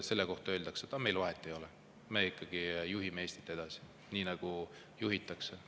Selle kohta öeldakse, et meil vahet ei ole, me ikkagi juhime Eestit edasi nii, nagu me juhime.